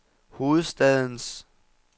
hovedstadens